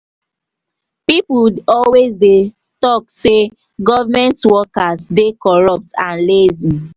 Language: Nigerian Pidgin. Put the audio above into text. people always dey talk say government workers dey corrupt and lazy.